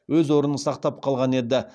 өз орнын сақтап қалған еді